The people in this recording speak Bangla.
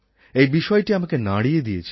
এই বিষয়টা আমাকে নাড়িয়ে দিয়েছিল